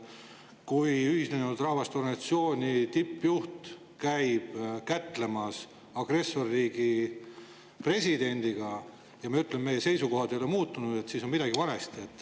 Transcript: Kui Ühinenud Rahvaste Organisatsiooni tippjuht käib kätlemas agressorriigi presidendiga ja me ütleme, et meie seisukohad ei ole muutunud, siis on midagi valesti.